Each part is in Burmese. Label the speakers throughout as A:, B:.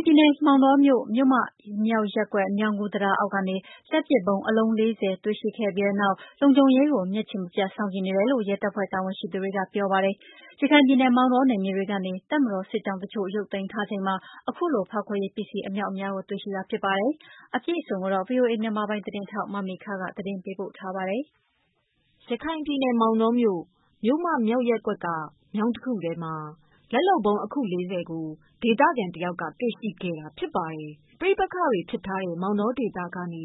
A: ်ပြည်နယ် ၊ မောင်တောမြို့ ၊ မြို့မမြောက်ရပ်ကွက် မြောင်းကူးတံတားအောက်ကနေ လက်လုပ်ဗုံး ၄၀လုံးကို တွေ့ရှိခဲ့ပြီးနောက် လုံခြုံရေးကိုမျက်ခြေမပြတ်ကြည့်နေတယ် လို့ရဲတပ်ဖွဲ့တာဝန်ရှိသူတွေကပြောပါတယ် ။ ရခိုင်ပြည်နယ် မောင်တော နယ်မြေတွေကနေ တပ်မတော်စစ်ကြောင်း တချို့ရုပ်သိမ်းထားချိန်မှာအခုလို ဖောက်ခွဲရေးပစ္စည်း အမြောက်အမြားကို တွေ့ရှိတာဖြစ်ပါတယ်။ အပြည့်အစုံကို ဗွီအိုအေမြန်မာပိုင်းကမေခကပေး ပို့ထားပါတယ်။ ရခိုင်ပြည်နယ် မောင်တောမြို့ ၊ မြို့မမြောက်ရပ်ကွက်က မြောင်းတခုထဲမှာ လက်လုပ်ဗုံး ၄၀ ကို ဒေသခံတယောက်က တေ့ွရှိခဲ့တာဖြစ်ပါတယ်။ ပဋိပက္ခတွေဖြစ်ထားတဲ့ မောင်တောဒေသကနေ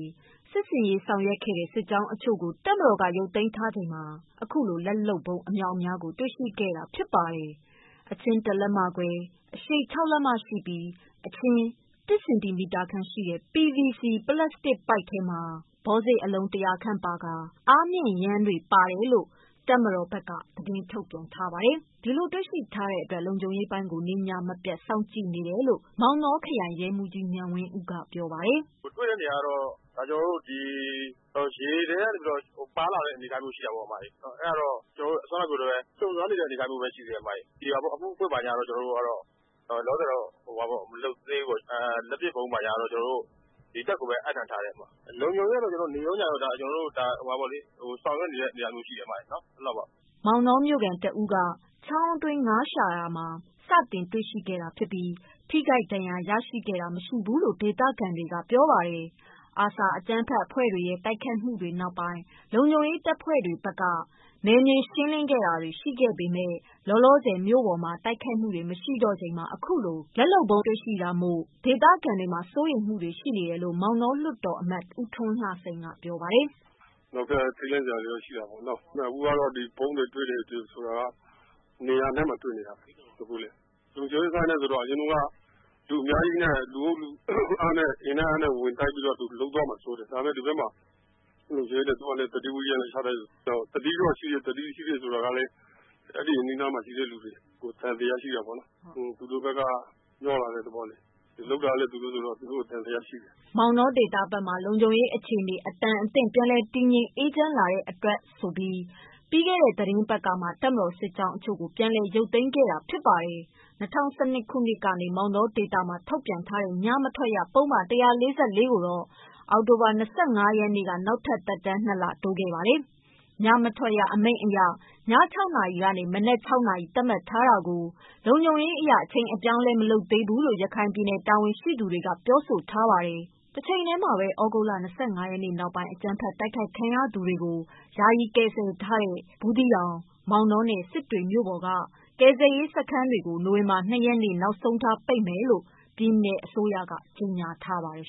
A: စစ်ဆင်ရေးဆောင်ရွက်ခဲ့တဲ့ စစ်ကြောင်းတချို့ကို တပ်မတော်က ရုပ်သိမ်းထားချိန်မှာ ခုလို လက်လုပ်ဗုံး အမြောက်အများကို တေ့ွရှိတာဖြစ်ပါတယ်။ အချင်း ၁ လက်မခွဲ၊ အရှည် ၆ လက်မရှိပြီး အချင်း ၁ စင်တီမီတာခန့်ရှိတဲ့ PVC ပလပ်စတစ်ပိုက်ထဲမှာ ဘောစေ့အလုံး ၁၀၀ခန့်ပါကာ အားမြှင့်ယမ်းတွေ ပါတယ်လို့ တပ်မတော်က သတင်းထုတ်ပြန်ထားပါတယ်။ ဒီလိုတွေ့ရှိထားတဲ့ အတွက် လုံခြုံ ရေးပိုင်း ပိုတိုးထားတယ်လို့ ရဲမှုးကြီး အောင်မြတ်မိုးက ပြောပါတယ်။
B: “တွေ့တဲ့နေရာကတော့ ကျနော်တို့ ဒီ ရေထဲကနေပြီးတော့ ပါလာတဲ့အနေအထားတော့ရှိတာပေါ့။ အဲဒါကတော့ ခုနကပြောသလိုပဲ စုံစမ်းနေတဲ့အနေအထားမျိုးပဲ ရှိသေးတယ်အမရေ၊ အမှုဖွင့်တာတို့တော့ လောလောဆည်ကတော့ မလုပ်သေးဘူးပေါ့။ လက်ပစ်ဗုံးတွေကတော့ တပ်ကိုပဲ အပ်နှံထားတယ်အမ။ လုံခြုံရေးကတော့ နေ့ရောညရော ဆောင်ရွက်နေတဲ့အနေအထားမျိုးရှိတယ်အမရေ။ အဲလောက်ပါပဲ
A: ။” မောင်တော မြို့ခံ တဦးက ချောင်းအတွင်းငါးရှာတာမှာ စတင်တွေ့ရှိခဲ့တာဖြစ်ပြီး ထိခိုက်ဒဏ်ရာရရှိခဲ့တာမရှိဘူးလို့ ဒေသ ခံတွေကပြောပါတယ်။ ARSA အကြမ်းဖက်အဖွဲ့တွေရဲ့ တိုက်ခိုက်မှုတွေနောက်ပိုင်း လုံခြုံရေးတပ်ဖွဲ့တွေဖက်က နယ်မြေရှင်းလင်းတာတွေရှိခဲ့ပေမဲ့ လောလောဆယ် မြို့ပေါ်မှာ တိုက်ခိုက်မှုတွေ မရှိတော့ချိန်မှာအခုလို လက်လုပ်ဗုံးတွေတွေ့တာမို့ ဒေသခံတွေမှာ စိုးရိမ်မှုတွေ ရှိနေတယ်လို့ မောင်တောလွှတ်တော်အမတ် ဦးထွန်းလှစိန်ကပြောပါတယ်။
C: “အဲလိုပဲ ထိတ်လန့်တာတွေတော့ရှိတာပေါ့နော် အခုကတော့ ဗုံးတွေတွေ့တယ် ဆိုတာက နေရာအနှံ့မှာတွေ့နေတာပေါ့လေ။ အရင်တုန်းက လူအများကြီးနဲ့ အင်နဲ့အားနဲ့ ဝင်တိုက်တာမျိုးလုပ်သွားမှာစိုးတယ်။ ဒါပေမယ့် ဒီဘက်မှာတော့ လုံခြုံရေးတွေကတော့ ရှိတယ် သတိတော့ရှိတယ်ဆိုပေမယ့် အဲဒီအနီးအနားမှာရှိတဲ့လူတွေကို သံသယရှိတာပေါ့နော် သူတို့ဘက်က မျှောလာတဲ့သဘောဆိုတော့လေ၊ လုပ်တာလည်းသူတို့ဆိုတော့ သူတို့ကို သံသယရှိတယ်
A: ။” မောင်တောဒေသဖက်မှာ လုံခြုံရေးအခြေအနေ အတန်အသင့် ပြန်လည်တည်ငြိမ် အေးချမ်းလာတဲ့အတွက်လို့ဆိုပြီး ပြီးခဲ့တဲ့သီတင်းပတ်ကမှ တပ်မတော် စစ်ကြောင်းတချို့ကို ပြန်ရုပ်သိမ်းခဲ့ပါတယ်။ ၂၀၁၂ ခုနှစ်ထဲက မောင်တောဒေသမှာ ထုတ်ပြန်ထားတဲ့ ညမထွက်ရ ပုဒ်မ ၁၄၄ ကိုတော့ အောက်တိုဘာလ ၂၅ ရက်နေ့ကပဲ နောက်ထပ် သက်တမ်း ၂ လတိုးခဲ့ပါတယ်။ ညမထွက်ရအမိန့်အရ ည ၆ နာရီကနေ မနက် ၆နာရီ သတ်မှတ်ထားတာကို လုံခြုံရေးအရ အချိန်အပြောင်းအလဲ မလုပ်သေးဘူးလို့ ရခိုင်ပြည်နယ်တာဝန်ရှိသူတွေက ပြောထားပါတယ်။ တချိန်ထဲမှာပဲ သြဂုတ်လ ၂၅ ရက်နောက်ပိုင်း အကြမ်းဖက်တိုက်ခိုက်ခံရ သူတွေကို ယာယီကယ်ဆယ်ထားတဲ့ ဘူးသီတောင်၊ မောင်တောနဲ့ စစ်တွေမြို့တွေက ကယ်ဆယ်ရေးစခန်းတွေ နိုဝင်ဘာ ၂ ရက်နေ့ နောက်ဆုံးထားပိတ်မယ်လို့ ပြည်နယ်အစိုးရက ကြေညာထားပါတယ်